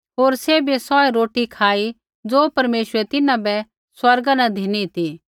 होर सैभिए सौऐ रोटी खाई ज़ो परमेश्वरै तिन्हां बै स्वर्गा न धिनी ती